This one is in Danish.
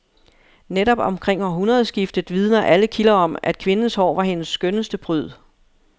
Netop omkring århundredskiftet vidner alle kilder om, at kvindens hår var hendes skønneste pryd.